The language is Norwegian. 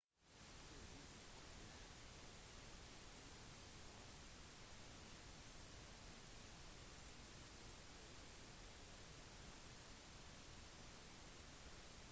på disse hotellene oppholdte tidens rike og kjente seg med flotte spiseopplevelser og natteliv